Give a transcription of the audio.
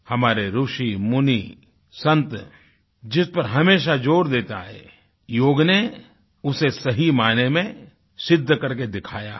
हमारे ऋषि मुनि संत जिस पर हमेशा जोर देते हैं योग ने उसे सही मायने में सिद्ध करके दिखाया है